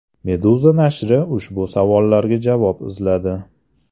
Meduza nashri ushbu savollarga javob izladi .